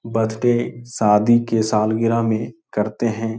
Birthday शादी के सालगिरह मै करते है।